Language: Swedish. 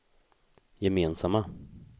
gemensamma